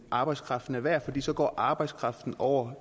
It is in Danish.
arbejdskraften er værd for så går arbejdskraften over